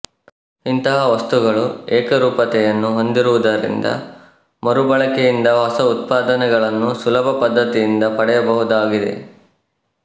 ಇಂತಹ ವಸ್ತುಗಳು ಏಕರೂಪತೆಯನ್ನು ಹೊಂದಿರುವುದರಿಂದ ಮರುಬಳಕೆಯಿಂದ ಹೊಸ ಉತ್ಪಾದನೆ ಗಳನ್ನು ಸುಲಭ ಪದ್ಧತಿಯಿಂದ ಪಡೆಯಬಹುದಾಗಿದೆ